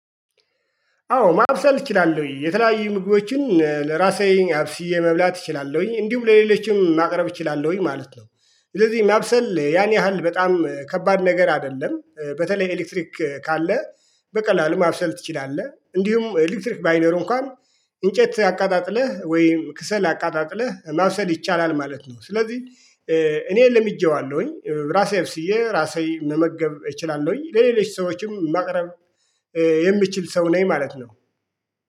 አዎ ማብሰል እችላለሁኝ። የተለያዩ ምግቦችን ለራሴ አብስዬ መብላት እችላለሁኝ። እንዲሁም ለሌሎችም ማቅረብ እችላለሁኝ ማለት ነው። ስለዚህ ማብሰል ያን ያህል በጣም ከባድ ነገር አይደለም። በተለይ ኤሌክትሪክ ካለ በቀላሉ ማብሰል ትችላለህ። እንዲሁም ኤሌክትሪክ ባይኖር እንኳን እንጨት አቀጣጥለህ ወይም ከሰል አቀጣጥለህ ማብሰል ይቻላል ማለት ነው። ስለዚህ እኔ ለምጄዋለሁኝ። ራሴ አብስዬ ራሴ መመገብ እችላለሁኝ። ለሌሎች ሰዎችም ማቅረብ የሚችል ሰው ነኝ ማለት ነው።